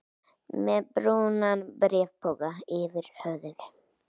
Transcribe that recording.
Með brúnan bréfpoka yfir höfðinu?